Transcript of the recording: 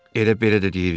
Elə belə də deyirdi?